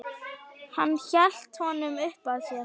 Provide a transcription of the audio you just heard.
Hann hélt honum uppað sér.